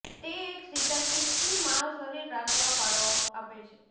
તે એક સીધા સ્થિતિમાં શરીર રાખવા ફાળો આપે છે